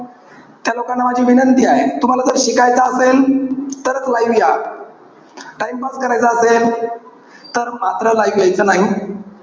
त्या लोकांना माझी विनंती आहे. तुम्हाला जर शिकायचं असेल, तरच live या. Timepass करायचा असेल तर मात्र live यायचं नाही.